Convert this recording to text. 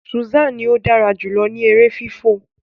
Susan ní o dára jùlọ ní èrè fifọ